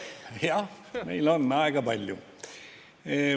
Jah, meil on aega palju.